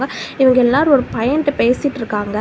ஹ இவங்க எல்லாரு ஒரு பையன்ட்டா பேசிட்ருக்காங்க.